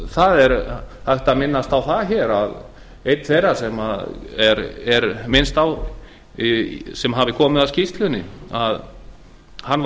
hér er hægt að minnast á að einn þeirra sem minnst er á að hafi komið að skýrslunni